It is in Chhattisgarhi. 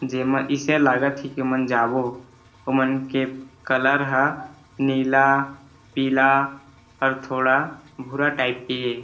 जेमा इसे लागत हे की मन जाबो ओमेन के कलर ह नीला पीला अउ थोड़ा भूरा टाइप के हे।